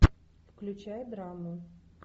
включай драму